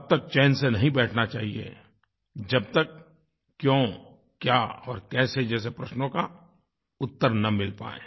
तब तक चैन से नहीं बैठना चाहिये जब तक क्यों क्या और कैसे जैसे प्रश्नों का उत्तर न मिल पाए